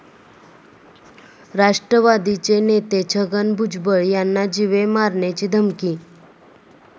राष्ट्रवादीचे नेते छगन भुजबळ यांना जीवे मारण्याची धमकी